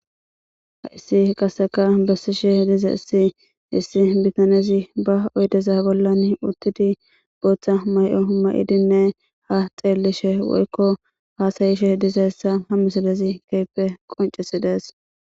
haysi qasseka bessishe dizays issi bitanezi ba oydeza bollan uttidi booththa mayo qumayidinne ha xeellishe woykko hasayishe dizaysa ha misalezi keehippe qoncesides